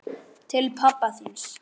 Til pabba þíns.